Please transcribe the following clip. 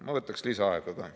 Ma võtaks lisaaega ka.